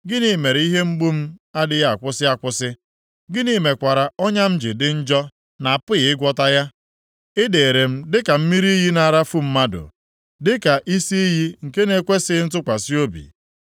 Gịnị mere ihe mgbu m adịghị akwụsị akwụsị? Gịnị mekwara ọnya m ji dị njọ na-apụghị ịgwọta ya? Ị dịrị m dịka mmiri iyi na-arafu mmadụ, dịka isi iyi nke na-ekwesighị ntụkwasị obi.